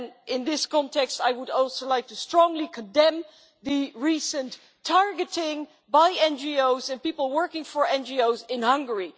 In this context, I would also like to strongly condemn the recent targeting of NGOs and people working for NGOs in Hungary.